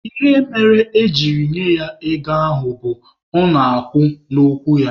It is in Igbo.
Ihe mere ejiri nye ya ego ahụ bụ, ọ na-akwụ n'okwu ya.